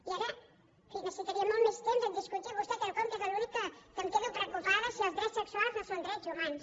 i ara en fi necessitaria molt més temps per discutir amb vostè quelcom que és de l’únic que em quedo preocupada si els drets sexuals no són drets humans